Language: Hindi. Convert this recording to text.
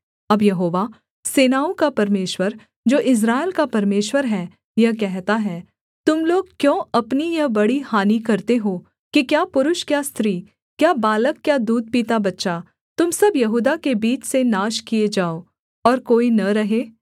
अब यहोवा सेनाओं का परमेश्वर जो इस्राएल का परमेश्वर है यह कहता है तुम लोग क्यों अपनी यह बड़ी हानि करते हो कि क्या पुरुष क्या स्त्री क्या बालक क्या दूध पीता बच्चा तुम सब यहूदा के बीच से नाश किए जाओ और कोई न रहे